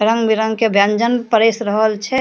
रंग-बिरंग के व्यंजन परेस रहल छे।